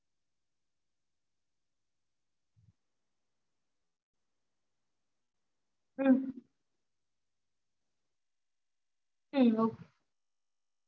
ஆஹ் okay mam பாத்துட்டேன் mam இருங்க mam நா கேட்டுக்கறேன் இந்த மாதிரி செய்ய முடியுமா எப்படினு okay ங்களா